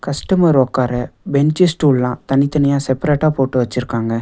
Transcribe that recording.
Customer ஒக்கார bench ஸ்டூல்லா தனித்தனியா செப்ரேட்டா போட்டு வச்சிருக்காங்க.